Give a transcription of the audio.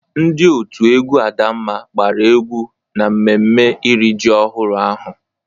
Ndị òtù egwú Adamma gbara egwú n'mmemme iri ji ọhụrụ ahụ.